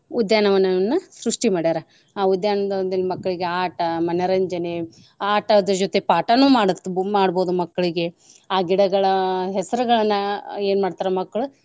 ಉದ್ಯಾನ ವನವನ್ನ ಸೃಷ್ಟಿ ಮಾಡ್ಯಾರಾ ಆ ಉದ್ಯಾನ ವನದಲ್ ಮಕ್ಳಿಗೆ ಆಟಾ ಮನರಂಜನೆ ಆಟದ್ ಜೊತೆ ಪಾಠನೂ ಮಾಡತ~ ಮಾಡ್ಬೋದು ಮಕ್ಳ್ಗೆ ಆ ಗಿಡಗಳ ಹೆಸರ್ಗಳನ್ನ ಏನ್ ಮಾಡ್ತಾರ ಮಕ್ಳು.